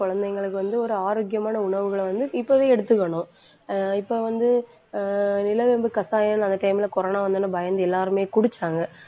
குழந்தைங்களுக்கு வந்து ஒரு ஆரோக்கியமான உணவுகளை வந்து இப்பவே எடுத்துக்கணும் ஆஹ் இப்ப வந்து ஆஹ் நிலவேம்பு கஷாயம், அந்த time ல, corona வந்த உடனே பயந்து, எல்லாருமே குடிச்சாங்க.